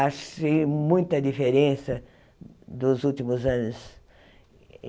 Achei muita diferença dos últimos anos.